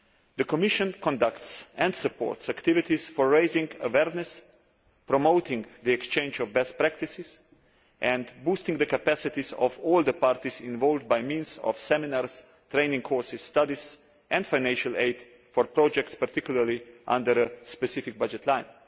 The Commission conducts and supports activities for raising awareness, promoting the exchange of best practices and boosting the capacities of all the parties involved by means of seminars, training courses, studies and financial aid for projects particularly under a specific budget line.